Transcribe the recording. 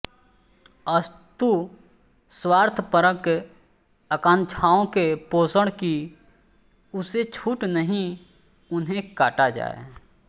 अस्तु स्वार्थपरक आकांक्षाओं के पोषण की उसे छूट नहीं उन्हें काटा जाए